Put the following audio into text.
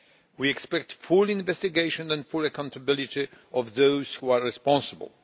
We expect a full investigation and the full accountability of those who are responsible.